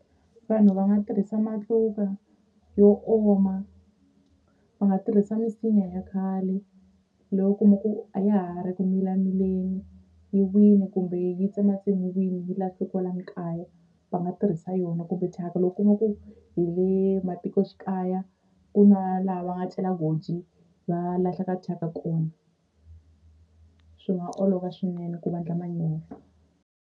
Vanhu va nga tirhisa matluka yo oma va nga tirhisa misinya ya khale leyi u kuma ku a ya ha ri ku milamileni yi wile kumbe yi tsematsemiwini yi lahliwe kwalani kaya va nga tirhisa yona kumbe thyaka loko u kuma ku hi le matikoxikaya ku na laha va nga cela goji va lahlaka thyaka kona swi nga olova swinene ku va endla manyoro.